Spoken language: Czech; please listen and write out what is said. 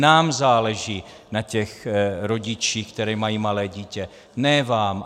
Nám záleží na těch rodičích, které mají malé dítě, ne vám.